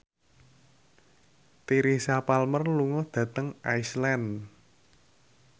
Teresa Palmer lunga dhateng Iceland